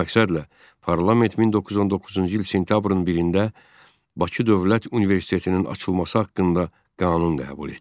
Bu məqsədlə parlament 1919-cu il sentyabrın birində Bakı Dövlət Universitetinin açılması haqqında qanun qəbul etdi.